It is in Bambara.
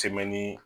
Cɛmɛni